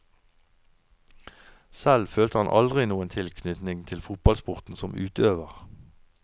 Selv følte han aldri noen tilknytning til fotballsporten som utøver.